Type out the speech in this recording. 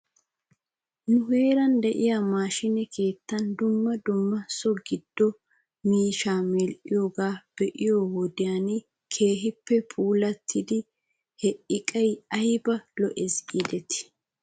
Nu heeran de'iyaa maashiine keettan dumma dumma so giddo miishshaa medhdhiyoogaa be'iyoo wodiyan keehippe puulattidi he iqay ayba lo'es giidetii.